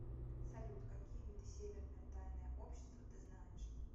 салют какие виды северное тайное общество ты знаешь